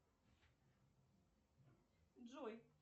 джой